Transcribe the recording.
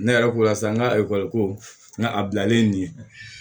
Ne yɛrɛ ko sisan n ka ekɔli ko nka a bilalen nin